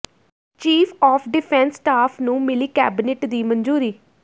chief of defence staff ਨੂੰ ਮਿਲੀ cabinet ਦੀ ਮਨਜ਼ੂਰੀ